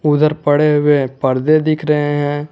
उधर पड़े हुए पर्दे दिख रहे हैं।